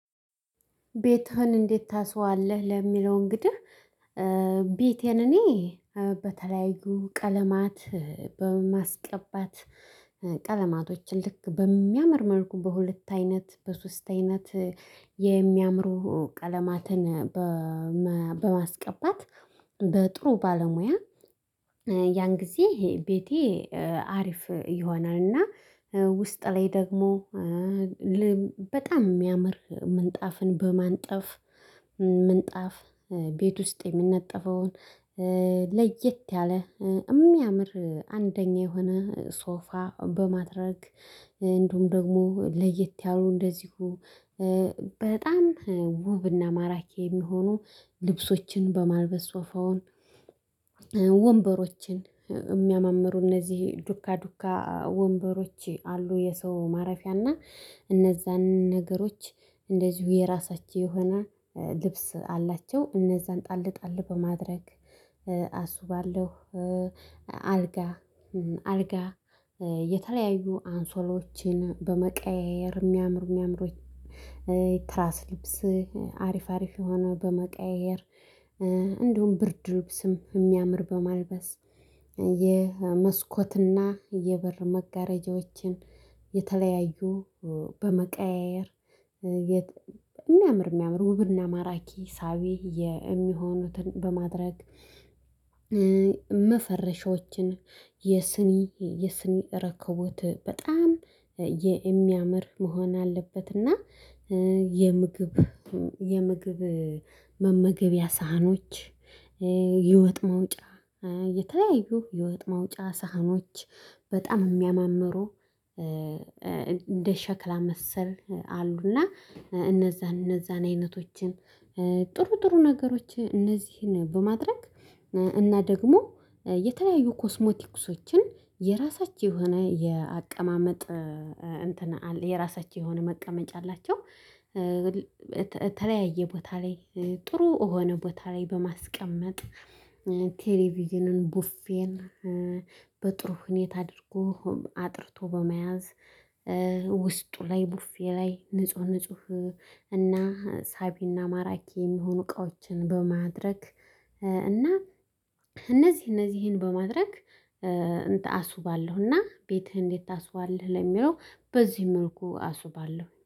ቤትህን እንዴት ታስዋለህ? ለሚለው እንግዲህ ቤቴን እኔ በተለያዩ ቀለማት በማስቀባት ቀለማቶችን ልክ በሚያመር መልኩ በሁለት አይነት በሶስት አይነት የሚያምሩ ቀለማትን በማስቀባት በጥሩ ባለሙያ ያን ጊዜ ቤቴ አሪፍ ይሆናል። እና ውስጥ ላይ ደግሞ በጣም የሚያምር ምንጣፍን በማንጠፍ ምንጣፍ ቤት ውስጥ የሚነጠፈውን ለየት ያለ የሚያምር አንደኛ የሆነ ሶፋ በማድረግ እንደውም ደግሞ ለየት ያሉ እንደዚሁ በጣም ውብና ማራኪ የሚሆኑ ልብሶችን በማልበስ ሶፋውን ወንበሮችን የሚያማምሩ እነዚህ ዱካ ዱካ ወንበሮች አሉ። የሰው ማረፊያና እነዛን ነገሮች እንደዚሁ የራሳቸው የሆነ ልብስ አላቸው እነዛን ጣል ጣል በማድረግ አስባለሁ። አልጋ አልጋ የተለያዩ አንሶሎችን በመቀያየር የሚያምሩ የሚያምሩኝ ትራስ ልብስ አሪፍ አሪፍ የሆነ በመቀያየር እንዲሁም ብርድ ልብስም የሚያምር በማልበስ የመስኮትና የበር መጋረጃዎችን የተለያዩ በመቀያየር የሚያምር የሚያምር ውብርና ማራኪ ሳቢ የሚሆኑትን በማድረግ መፈረሻዎችን የስኒ የስኒ ረከቦት በጣም የሚያምር መሆን አለበት። እና የምግብ የምግብ መመገቢያ ሳህኖች የወጥ ማውጫ የተለያዩ የወጥ መውጫ ሳህኖች በጣም እሚያማምሩ እንደ ሸክላ መሰል አሉና እነዛን እነዛን አይነቶችን ጥሩ ጥሩ ነገሮች እነዚህን በማድረግ እና ደግሞ የተለያዩ ኮስሞቲክሶችን የራሳቸው የሆነ የአቀማመጥ እንትን አለ የራሳቸው የሆነ መቀመጫ አላቸው። በተለያየ ቦታ ላይ ጥሩ እሆነ ቦታ ላይ በማስቀመጥ ቴሌቪዥንን ቡፌን በጥሩ ሁኔታ አድርጎ አጥርቶ በመያዝ ውስጡ ላይ ቡፌ ላይ ንጹህ ንጹህ እና ሳቢና ማራኪ የሚሆኑ እቃዎችን በማድረግ እና እነዚህ እነዚህን በማድረግ እንትን አስውባለሁና። ቤትህ እንዴት ታስዋለህ ለሚለው በዚህ መልኩ አስውባለሁ